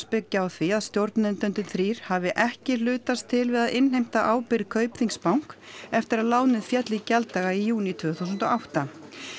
byggjast á því að stjórnendurnir þrír hafi ekki hlutast til við að innheimta ábyrgð Bank eftir að lánið féll í gjalddaga í júní tvö þúsund og átta